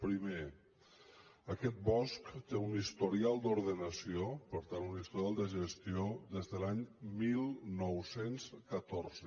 primer aquest bosc té un historial d’ordenació per tant un historial de gestió des de l’any dinou deu quatre